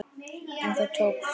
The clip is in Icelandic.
En það tókst.